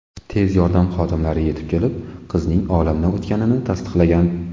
Tez yordam xodimlari yetib kelib, qizning olamdan o‘tganini tasdiqlagan.